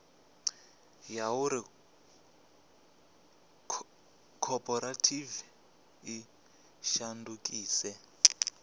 ya uri khophorethivi i shandukise